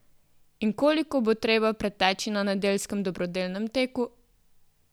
In koliko bo treba preteči na nedeljskem dobrodelnem teku?